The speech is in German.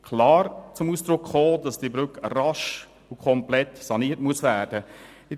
Es kam klar zu Ausdruck, dass die Brücke rasch und komplett saniert werden muss.